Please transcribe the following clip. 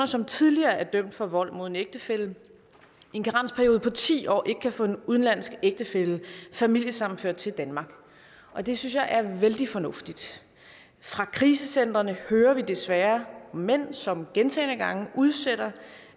som tidligere er dømt for vold mod en ægtefælle i en karensperiode på ti år ikke kan få en udenlandsk ægtefælle familiesammenført til danmark og det synes jeg er vældig fornuftigt fra krisecentrene hører vi desværre om mænd som gentagne gange udsætter